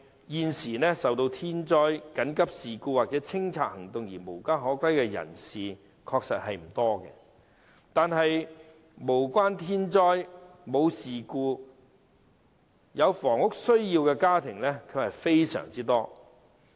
現時受到天災、緊急事故或清拆行動而無家可歸的人士確實不多，但無關天災、事故卻有房屋需要的家庭非常多。